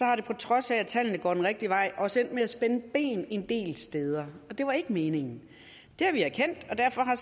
er det på trods af at tallene går den rigtige vej også endt med at spænde ben en del steder og det var ikke meningen det har vi erkendt og derfor har